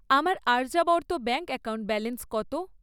আমার Aryavarta bank account balance কত?